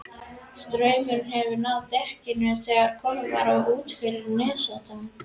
Straumurinn hefur náð dekkinu þegar komið var út fyrir nesoddann.